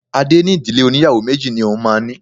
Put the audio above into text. Adé ní Ìdílé óníyàwó méjì ni òun máa ní.